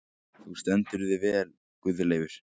Þú stendur þig vel, Guðleifur!